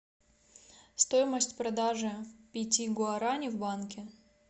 стоимость продажи пяти гуарани в банке